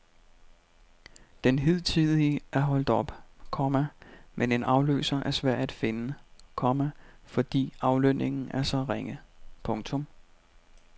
Den hidtidige er holdt op, komma men en afløser er svær at finde, komma fordi aflønningen er så ringe. punktum